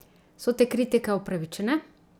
So te kritike upravičene?